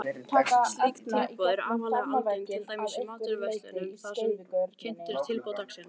Þeir voru ekki eingöngu til bragðbætis heldur vörðu þeir einnig ölið skemmdum.